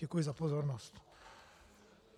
Děkuji za pozornost.